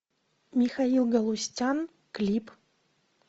михаил галустян клип